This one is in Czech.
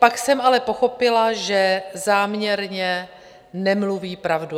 Pak jsem ale pochopila, že záměrně nemluví pravdu.